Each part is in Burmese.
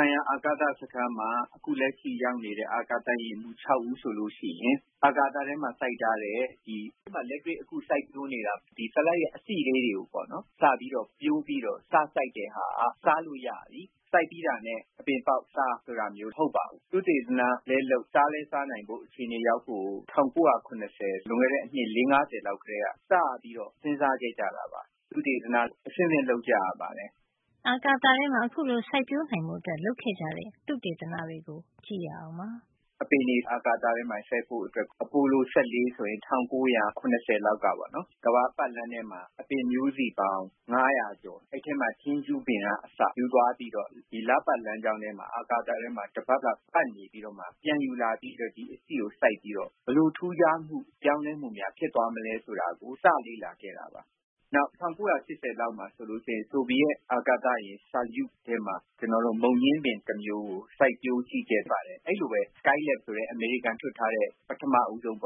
ုင်ရာ အာကာသစခန်းမှာ အခု လက်ရှိ ရောက်နေတဲ့ အာကာသယာဉ်မှူး ၆ ဦးဆိုလို့ရှိရင် အာကာသထဲမှာ လက်တွေ့စိုက်ပျိုး နေတဲ့ ဆလပ်ရွက် အစေ့လေးတွေ ကိုစပြီး ပျိုးပြီးတော့ စစိုက်တာက စားလို့ရပြီ။ စိုက်ပြီးတာနဲ့ အပင်ပေါက်စား ဆိုတာမျိုး မဟုတ်ပါဘူး။ သုတေသနလည်းလုပ်၊ စားလည်းစားနိုင်ဖို့ အခြေနေရောက်ဖို့ိကို ၁၉၇၀ လွန်ခဲ့တဲ့ အနှစ် ၄- ၅၀ လောက် ကတည်းက စပြီးတော့ စဉ်းစားခဲ့ကြတာပါ။ သုတေသန အဆင့်ဆင့် လုပ်ကြရပါတယ်။“ “အပင်တွေ အာကာသထဲမှာ စိုက်ဖို့ဆိုရင် အပိုလို ၁၄ ဆိုရင် ၁၉၇၀ လောက်ကပေါ့နော်။ ကမ္ဘာပတ်လမ်းထဲမှာ အပင်မျိုးစေ့ပေါင်း ၅၀၀ ကို အဲဒီအထဲမှာ ထင်းရှူးပင်က အစ ယူသွားပြီးတော့ ဒီလပတ်လမ်းကြောင်းထဲမှာ၊ အာကာသ ထဲမှာ တပတ်လောက် ပတ်နေပြီးတော့မှာ ပြန်ယူလာပြီး ဒီအစေ့ကို စိုက်ပြီးတော့ ဘယ်လိုထူးခြားမှု၊ ပြောင်းလဲမှုများ ဖြစ်သွားမလဲ ဆိုတာကို စလေ့လာခဲ့တာပါ။ နောက် ၁၉၈၀ လောက်မှာဆို ဆိုဗီယက်အာကာသယာဉ် ဆိုယုစ် ထဲမှာ မုန်ညင်းပင် တမျိုးကို စိုက်ပျိုး ကြည့်ခဲ့ဘူးပါတယ်။ အဲဒီလိုပဲ Skylab ဆိုတဲ့ အမေရိကန်က လွှတ်ထား တဲ့ ပထမဦးဆုံး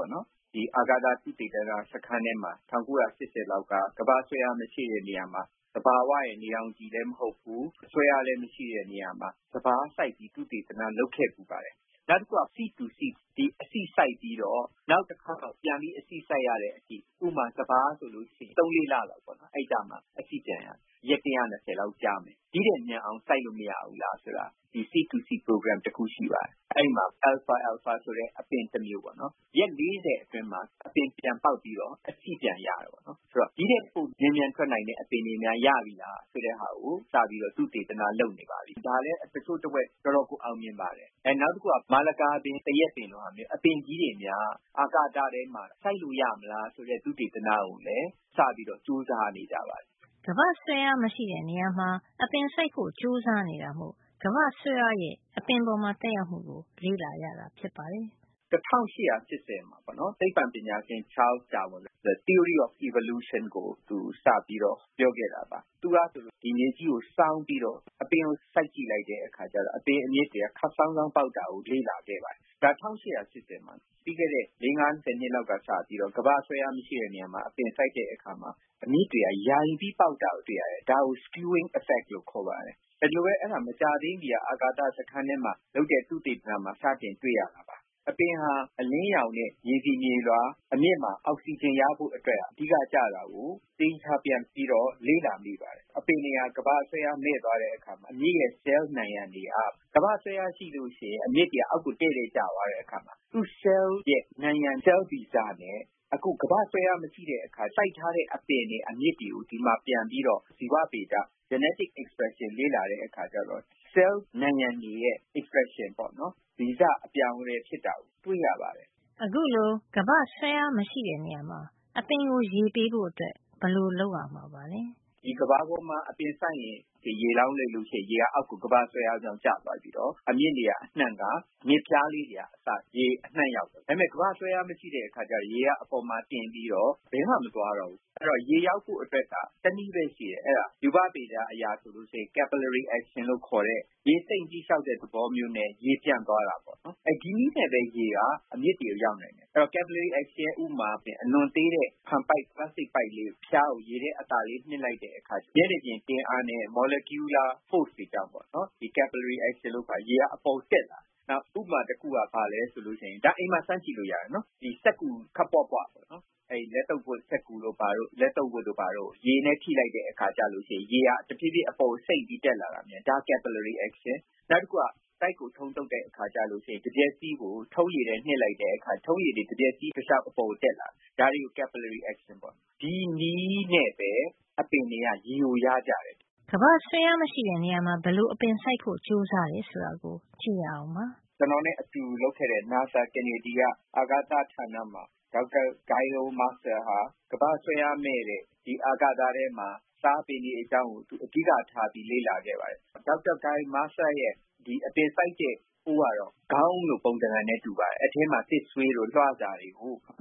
အာကာသ သုတေသန စခန်းထဲမှာ ၁၉၈၀ လောက်က ကမ္ဘာ့ဆွဲအား မရှိတဲ့နေရာမှာ သဘာဝရဲ့ နေရောင်ခြည်လည်း မဟုတ်ဘူး။ ဆွဲအားလည်း မရှိတဲ့ နေရာမှာ စပါးစိုက်ရေး သုတေသန လုပ်ခဲ့ပါတယ်။ နောက်တခုက seed to seed ဆိုတဲ့ အစေ့စိုက်ပြီး နောက်တခေါက် ပြန်ပြီး အစေ့စိုက်ရတဲ့အထိ - ဥပမာ စပါးဆိုရင် ၃-၄ လလောက်မှာ အစေ့ပြန်ရတယ်။ ရက် ၁၂၀ လောက်ကြာမယ်။ ဒီ့ထက် မြန်အောင် စိုက်လို့ မရဘူးလား၊ လေ့လာတဲ့ seed to seed အစီအစဉ် တခု ရှိပါတယ်။ အဲဒီမှာ အယ်လ်ဖာ- အယ်လ်ဖာ ဆိုတဲ့ အပင် တမျိုးကို ရက် ၄၀ အတွင်းမှာ အပင်ပြန် ပေါက်ပြီးတော့ အစေ့ပြန်ရတာပေါ့နော်။ ဆိုတော့ ဒီ့ထက်ပို မြန်မြန်ထွက်နိုင်တဲ့ အပင်တွေများ ရပြီလား။ ဆိုတာကို စပြီးတော့ သုတေသနလုပ်နေပါပြီ။ ဒါလည်း တချို့တဝက် တော်တော်ကို အောင်မြင်နေပါပြီ။ နောက်တခုက မာလကာပင်၊ သရက်ပင်လိုမျိုး အပင်ကြီးတွေများ အာကာသထဲမှာ စိုက်လို့ ရမလား ဆိုတဲ့ သုတေသနကိုလည်း စပြီးကြိုးစားနေပါပြီ။” “၁၈၈၀ ပေါ့နော် သိပ္ပံပညာရှင် Charles Darwin ဆိုတာ theory of evolution ကိုသူ စပြီးတော့ပြောခဲ့တာပါ။ သူကဆိုရင် မြေကြီးကို စောင်း ပြီးတော့ အပင်ကို စိုက်ကြည့်လိုက်တဲ့အခါကျတော့ အပင်အမြစ်တွေက ခပ်စောင်း စောင်း ပေါက်တာကို လေ့လာခဲ့ ပါတယ်။ ဒါက ၁၈၈၀ တုန်းက။ ပြီးခဲ့တဲ့ ၄- ၅ ဆယ် နှစ်လောက်က စပြီးတော့ ကမ္ဘာ့ဆွဲအား မရှိတဲ့ နေရာမှာ အပင်စိုက်တဲ့အခါမှာ အမြစ်တွေက ယိုင်ပြီးပေါက်တာကို တွေ့ရတယ်။ ဒါကို skewing effect လို့ခေါ်ပါတယ်။ မကြာသေးခင်က အာကာသစခန်းထဲမှာ လုပ်တဲ့ သုတေသနမှာ စပြီးတွေ့ရမှာပါ။ အပင်ဟာ အလင်းရောင်နဲ့ မြေဆီမြေလွှာ အပြင်အမြစ်မှာ အောက်ဆီဂျင်ရဖို့ ကိစ္စဟာ အဓိကကျတာကို ပြန်ပြီးတော့ လေ့လာနေပါတယ်။ အပင်တွေဟာ ကမ္ဘာ့ဆွဲအား မဲ့ သွားတဲ့အခါမှာ အမြစ်ရဲ့ ဆဲလ် နံရံတွေဟာ ကမ္ဘာ့ဆွဲအားရှိရင် အမြစ်တွေက အောက် ကို တည့်တည့်ကျသွားတဲ့အခါ သူ့ဆဲလ်ရဲ့ နံရံက ဆဲလ်ဗီဇနဲ့ အခုကမ္ဘာ့ဆွဲအား မရှိတဲ့ အခါ စိုက်တဲ့ အပင်တွေ အမြစ်တွေကို ဒီမှာ ပြန်ပြီးတော့ ဇီဝဗေဒ genetic expression လေ့လာတဲ့အခါကျတော့ ဆဲလ် နံရံ တွေရဲ့ expression က ဗီဇအပြောင်းအလဲ ဖြစ်တာကို တွေ့ရပါတယ်။” “ကမ္ဘာပေါ်မှာ အပင်စိုက်လို့ ရေလောင်းလိုက်ရင် ရေက သူ့ဟာသူ အောက်ကို ကမ္ဘာ့ဆွဲအားကြောင့် ကျသွားပြီးတော့ အမြစ်နေရာအနှံ့က အမြစ်ဖျားလေးတွေအထိ ရေအနှံ့ရောက်တယ်။ ဒါပေမယ့်ကမ္ဘာ့ဆွဲအား မရှိတဲ့ အခါကျတော့ ရေက အပေါ်မှာ တင်ပြီးတော့ ဘယ်မှ မသွားတော့ဘူး။ အဲဒီတော့ ရေရဖို့အတွက်က တနည်းပဲ ရှိတယ်။ အဲဒါ ရူပဗေဒအရ ဆိုရင် capillary action လို့ခေါ်တဲ့ ရေစိမ့်လျှောက်တဲ့ သဘောမျိုးနဲ့ ရေပြန့်သွားတာပေါ့နော်။ ဒီနည်းနဲ့ပဲ ရေဟာ အမြစ်တွေဆီ ရောက်တယ်။ capillary action အတွက် ဥပမာကို ကြည့်ရင် အလွန်သေးတဲ့ ပိုက်ကလေးရဲ့ အဖျားကို ရေထဲ အသာလေး နှစ်လိုက်ရင် မျက်နှာပြင် တင်းအားနဲ့ molecular force တွေကြောင့် ရေက အပေါ်ကို တက်လာတယ်။ နောက် ဥပမာ တခုက အိမ်မှာ စမ်းကြည့်လို့ ရပါတယ်။ စက္ကူခပ်ပွပွ ကို ရေနဲ့ ထိလိုက်တဲ့အခါ ရေက တဖြေးဖြေး အပေါ်ကို စိမ့်ပြီး တက်လာတယ်။ နောက်တခုက တိုက်ကို ထုံးသုတ်တဲ့အခါကျရင် တံမျက်စီးကို ထုံးရည်ထဲ နှစ်လိုက်တဲ့အခါ ထုံးရည်တွေ တံမျက်စည်းတလျှောက် အပေါ်ကို တက်လာတယ်။ ဒါတွေကို capillary action လို့ခေါ်တယ်။ ဒီနည်းနဲ့ပဲ အပင်တွေက ရေကို ရကြတယ်။” “ကျွန်တော်နဲ့ အတူလုပ်ခဲ့တဲ့ နာဆာကနေဒီက အာကာသဌာနမှာ ဒေါက်တာဂိုင်ရိုမာစတာဟာ ကမ္ဘာ့ဆွဲအားမဲ့တဲ့ အာကာသထဲမှာ စားပင်တွေ အကြောင်းကို အဓိက ထားပြီးလေ့လာခဲ့ပါတယ်။ သူ့ရဲ့ အပင်စိုက်တဲ့ အိုးကတော့ ခေါင်းအုံးလိုပုံသဏ္ဍာန်နဲ့ တူပါတယ်။ အဲဒီအထဲမှာ သစ်ဆွေးတို့ လွှစာတို့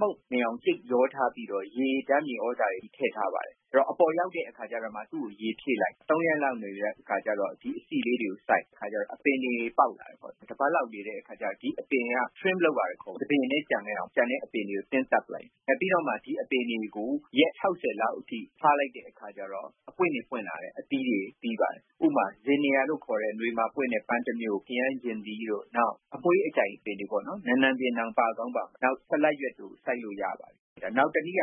မှုန့်နေအောင် ကြိတ်ရောထားပြီးတော့ ဓါတ်မြေသြဇာတွေ ထည့်ထားပါတယ်။ အပေါ်ရောက်တဲ့ အခါကျတော့မှ သူ့ကို ရေဖြည့်လိုက်၊ ၃ ရက်လောက် နေပြီးတဲ့အခါ အစေ့လေးတွေကို စိုက်တော့ အပင်တွေ ပေါက်လာတယ်။ တပတ်လောက် အကြာမှာ trim လုပ်ရတယ်။ တပင်ထဲ ကျန်ခဲ့အောင် ကျန်တဲ့အပင်တွေကို သင်းသတ်ရတယ်။ ပြီးတော့မှ ဒီအပင်တွေကို ရက် ၆၀ လောက်အထိ ထားလိုက်တဲ့အခါ အပွင့်တွေ ပွင့်လာတယ်။ အသီးတွေ သီးပါတယ်။ ပန်းတွေ၊ ခရမ်းချဉ်သီးတို့ အမွှေးအကြိုင်တွေပေါ့ နံနံပင်လို၊ နောက် ဆလပ်ပင်တို့ စိုက်လို့ ရပါတယ်။ နောက်တနည်းက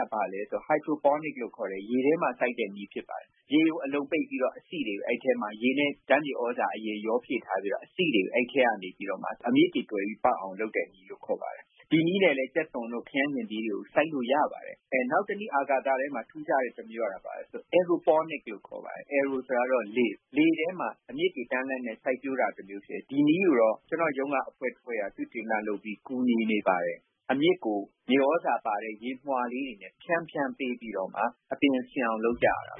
Hydroponics လို့ခေါ်တဲ့ ရေထဲမှာ စိုက်တဲ့နည်း ဖြစ်ပါတယ်။ ရေကို အလုံပိတ်ပြီးတော့ အသီးတွေကိုအဲဒီထဲမှာ ရေနဲ့ ဓါတ်မြေသြဇာရောဖြည့်ထားပြီး အစေ့တွေကို အဲဒီထဲကနေပြီးမှ အမြစ်တွေ တွယ်ပြီး ပေါက်အောင်လုပ်တဲ့နည်း ဖြစ်ပါတယ်။ ဒီနည်းနဲ့လည်း ကြက်သွန်တို့ ခရမ်းချဉ်သီးတို့ စိုက်လို့ရပါတယ်။ နောက်တနည်း အာကာသထဲမှာ ထူးခြားတဲ့နည်းကတော့ aeroponics လို့ခေါ်ပါတယ်။ လေထဲမှာ အမြစ်တွေ တန်းလန်းနဲ့ စိုက်ပျိုးတာမျိုးပါ။ ဒီနည်းကိုတော့ ကျွန်တော့်ရုံးက အဖွဲ့တဖွဲ့က သုတေသနလုပ်ပြီး ကူညီနေပါတယ်။ အမြစ်ကို မြေသြဇာပါတဲ့ ရေမွှာလေးတွေ ဖြန်းဖြန်းပေးပြီးတော့မှ အပင်ရှင်အောင် လုပ်ကြရတာပါ